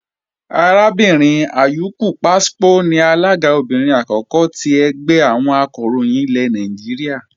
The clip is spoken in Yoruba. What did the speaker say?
Arábìnrin Ayuku Pwaspo ni alága obìnrin àkọ́kọ́ ti ẹgbẹ́ àwọn Oníròyìn Nàìjíríà